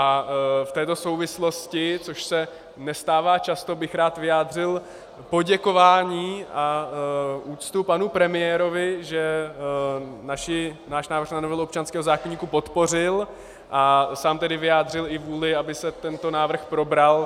A v této souvislosti, což se nestává často, bych rád vyjádřil poděkování a úctu panu premiérovi, že náš návrh na novelu občanského zákoníku podpořil a sám tedy vyjádřil i vůli, aby se tento návrh probral.